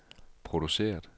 produceret